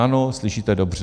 Ano, slyšíte dobře.